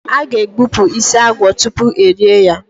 A ga- egbupụ isi agwọ tutu erie ya.